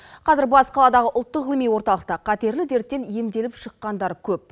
қазір бас қаладағы ұлттық ғылыми орталықта қатерлі дерттен емделіп шыққандар көп